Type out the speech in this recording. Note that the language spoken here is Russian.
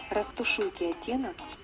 растушуйте оттенок